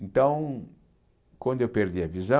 Então, quando eu perdi a